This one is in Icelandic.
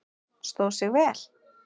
Stóð sig vel?